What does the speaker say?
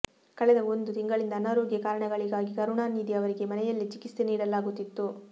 ಕಳೆದ ಒಂದು ತಿಂಗಳಿಂದ ಅನಾರೋಗ್ಯ ಕಾರಣಗಳಿಗಾಗಿ ಕರುಣಾನಿಧಿ ಅವರಿಗೆ ಮನೆಯಲ್ಲೇ ಚಿಕಿತ್ಸೆ ನೀಡಲಾಗುತ್ತಿತ್ತು